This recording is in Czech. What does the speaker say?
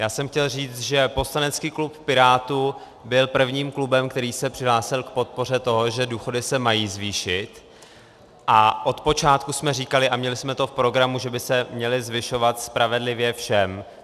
Já jsem chtěl říct, že poslanecký klub Pirátů byl prvním klubem, který se přihlásil k podpoře toho, že důchody se mají zvýšit, a od počátku jsme říkali a měli jsme to v programu, že by se měly zvyšovat spravedlivě všem.